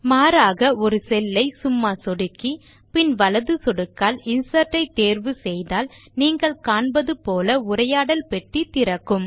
மாறாக ஒரு செல் ஐ சும்மா சொடுக்கி பின் வலது சொடுக்கால் இன்சர்ட் ஐ தேர்வு செய்தால் நீங்கள் காண்பது போல உரையாடல் பெட்டி திறக்கும்